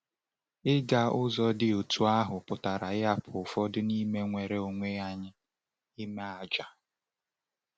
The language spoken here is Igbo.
Ịga ụzọ dị otú ahụ pụtara ịhapụ ụfọdụ n’ime nnwere onwe anyị, ime àjà.